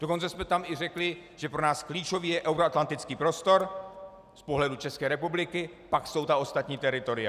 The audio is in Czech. Dokonce jsme tam i řekli, že pro nás klíčový je euroatlantický prostor z pohledu České republiky, pak jsou ta ostatní teritoria.